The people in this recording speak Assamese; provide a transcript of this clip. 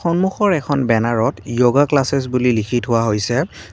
সন্মুখৰ এখন বেনাৰ ত য়োগা ক্লাছচেছ বুলি লিখি থোৱা হৈছে।